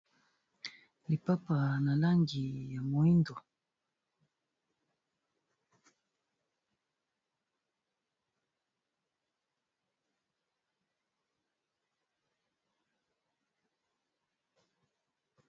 lipapa na langi ya mohindo